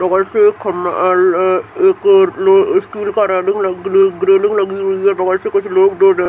बगल से एक खम्भा अअअ एक और में स्टील का रेलिंग ग रेलिंग लगी हुई है बगल से कुछ लोग दो --